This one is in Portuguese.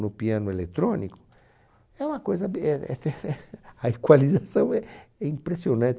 No piano eletrônico, é uma coisa be eh ehfehe a equalização é é impressionante.